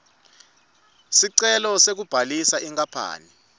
sicelo sekubhalisa inkapani